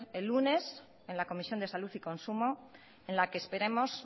el lunes en la comisión de salud y consumo en la que esperemos